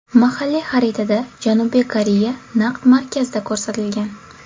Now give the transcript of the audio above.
Mahalliy xaritada Janubiy Koreya naqd markazda ko‘rsatilgan.